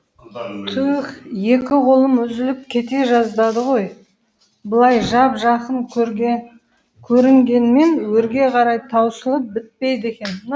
түүүһ екі қолым үзіліп кете жаздады ғой былай жап жақын көрінгенмен өрге қарай таусылып бітпейді екен